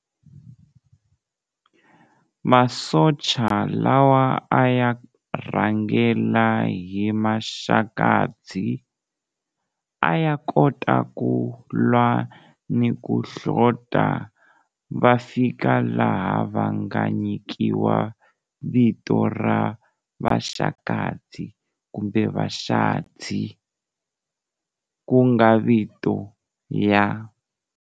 Masocha lawa a ya rhangela hi Maxakadzi a ya kota ku lwa ni ku hlota, va fika laha va nga nyikiwa vito ra vaxakadzi kumbe vaxadzi, ku nga vito ya.